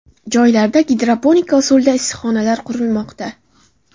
Joylarda gidroponika usulida issiqxonalar qurilmoqda.